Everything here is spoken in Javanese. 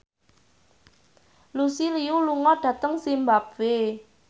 Lucy Liu lunga dhateng zimbabwe